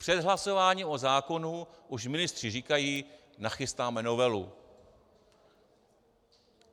Před hlasováním o zákonu už ministři říkají - nachystáme novelu.